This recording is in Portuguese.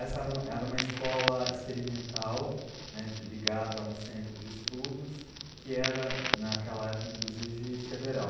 Essa era, era uma escola experimental ligada a um centro de estudos que era, naquela época, inclusive, federal.